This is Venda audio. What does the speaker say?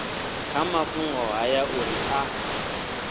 kha mafhungo haya uri a